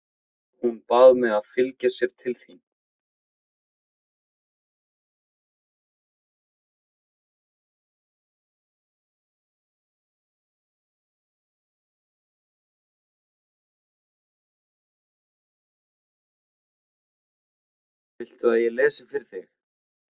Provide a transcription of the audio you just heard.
Viltu að ég lesi fyrir þig?